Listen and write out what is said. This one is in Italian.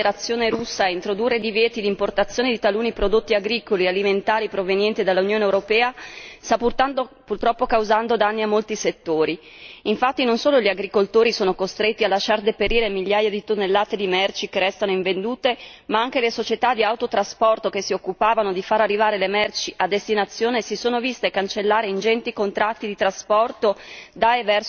Signor Presidente, onorevoli colleghi, la decisione della Federazione russa di introdurre divieti di importazione di taluni prodotti agricoli e alimentari provenienti dall'Unione europea sta purtroppo causando danni a molti settori. Infatti, non solo gli agricoltori sono costretti a lasciar deperire migliaia di merci che restano invendute ma anche le società di autotrasporto che si occupavano di far arrivare le merci a destinazione si sono viste annullare ingenti contratti di trasporto